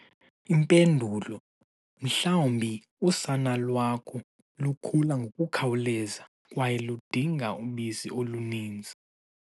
Impendulo- Mhlawumbi usana lakho lukhula ngokukhawuleza, kwaye ludinga ubisi oluninzi.